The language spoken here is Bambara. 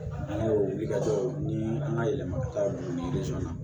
Ani o wuli ka jɔ ni an ka yɛlɛma ka taa u ni na